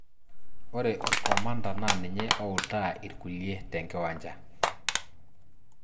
Ore orkomanda naa ninye ooutaa irkulie tenkiwancha.